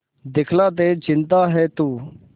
दिखला दे जिंदा है तू